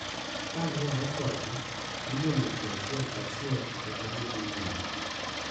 Kaluwore kodgi, iluongo ji achiel ka achiel kendo gidhi nyime.